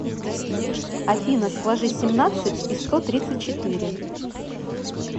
афина сложи семнадцать и сто тридцать четыре